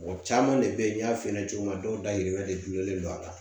Mɔgɔ caman de bɛ yen n y'a f'i ɲɛna cogo min dɔw dayirimɛ de donlen don a la